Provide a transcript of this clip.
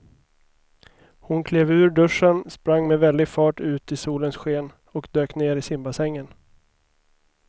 Hon klev ur duschen, sprang med väldig fart ut i solens sken och dök ner i simbassängen.